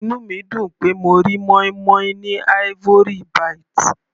Inú mi dùn pé mo rí moin-moin ní Ivory -bite.